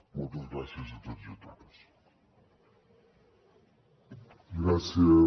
moltes gràcies a tots i totes